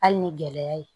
Hali ni gɛlɛya ye